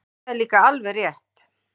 Það er líka alveg rétt.